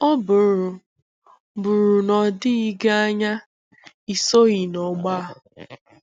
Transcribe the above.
Ọ bụrụ bụrụ na o doghị gị anya, ị soghị n'ọgbọ a.